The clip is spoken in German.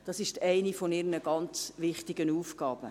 Das ist eine ihrer sehr wichtigen Aufgaben.